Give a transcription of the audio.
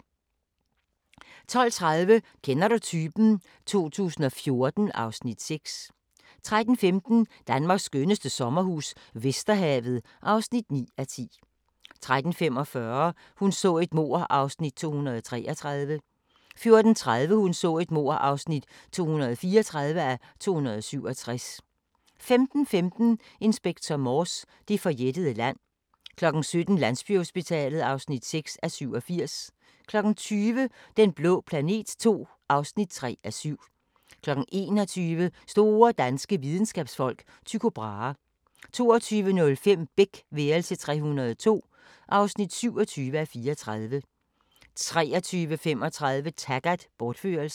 12:30: Kender du typen? 2014 (Afs. 6) 13:15: Danmarks skønneste sommerhus - Vesterhavet (9:10) 13:45: Hun så et mord (233:267) 14:30: Hun så et mord (234:267) 15:15: Inspector Morse: Det forjættede land 17:00: Landsbyhospitalet (6:87) 20:00: Den blå planet II (3:7) 21:00: Store danske videnskabsfolk: Tycho Brahe 22:05: Beck – værelse 302 (27:34) 23:35: Taggart: Bortførelsen